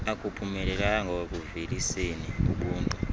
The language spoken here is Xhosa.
akuphumelelanga ekuuveliseni ubuntu